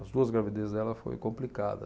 As duas gravidezes dela foram complicadas.